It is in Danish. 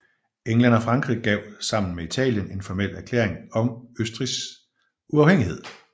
England og Frankrig gav sammen med Italien en formel erklæring om Østrigs uafhængighed